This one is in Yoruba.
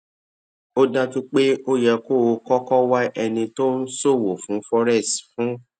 ó dájú pé ó yẹ kó o kókó wá ẹni tó ń ṣòwò fún forex fún